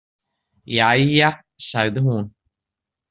Jæja, sagði hún.